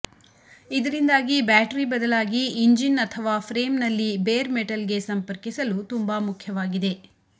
ಇದರಿಂದಾಗಿ ಬ್ಯಾಟರಿ ಬದಲಾಗಿ ಇಂಜಿನ್ ಅಥವಾ ಫ್ರೇಮ್ನಲ್ಲಿ ಬೇರ್ ಮೆಟಲ್ಗೆ ಸಂಪರ್ಕಿಸಲು ತುಂಬಾ ಮುಖ್ಯವಾಗಿದೆ